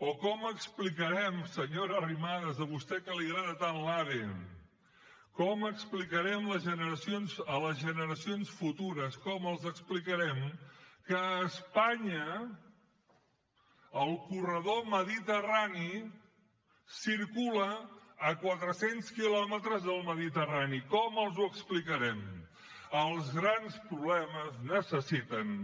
o com explicarem senyora arrimadas a vostè que li agrada tant l’ave com explicarem a les generacions futures com els explicarem que a espanya el corredor mediterrani circula a quatre cents quilòmetres del mediterrani com els ho explicarem els grans problemes necessiten